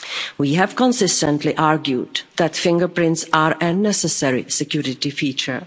We have consistently argued that fingerprints are a necessary security feature.